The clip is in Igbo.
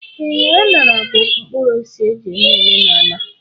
Ee, aṅara bụ mkpụrụosisi e ji eme omenala.